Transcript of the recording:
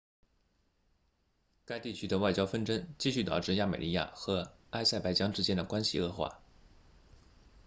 该地区的外交纷争继续导致亚美尼亚和阿塞拜疆之间的关系恶化